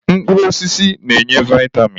Mkpụrụ osisi na-enye vitamin.